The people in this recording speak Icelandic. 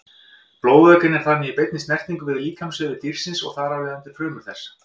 Blóðvökvinn er þannig í beinni snertingu við líkamsvefi dýrsins og þar af leiðandi frumur þess.